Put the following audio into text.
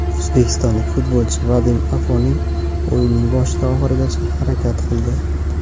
O‘zbekistonlik futbolchi Vadim Afonin o‘yinning boshidan oxirigacha harakat qildi.